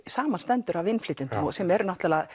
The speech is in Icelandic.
samanstendur af innflytjendum sem eru